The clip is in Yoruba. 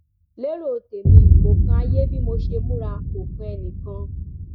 lérò tèmi kò kan ayé bí mo ṣe múra kò kan ẹnìkan